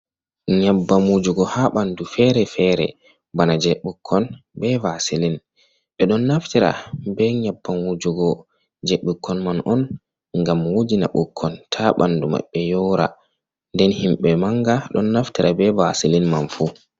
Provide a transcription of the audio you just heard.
Nyebbam wujugo ha ɓandu fere-fere bana je ɓukkon be vasilin. Ɗon naftira be nyebbam wujugo je ɓukkon man on ngam wujina ɓukkon ha ɓandu maɓɓe yora. Nden himɓe manga ɗon naftira be vasilin man fu.